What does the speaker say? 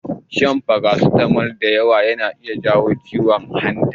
Shan farasitamol da yawa zai iya jawo ciwon hanta.